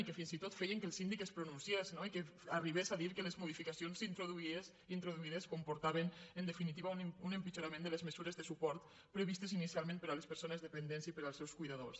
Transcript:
i que fins i tot feien que el síndic es pronunciés no i que arribés a dir que les modificacions introduïdes comportaven en definitiva un empitjorament de les mesures de suport previstes inicialment per a les persones dependents i per als seus cuidadors